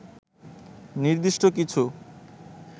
নির্দিষ্ট কিছু